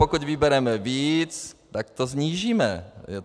Pokud vybereme víc, tak to snížíme.